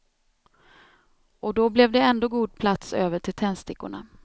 Och då blev det ändå god plats över till tändstickorna.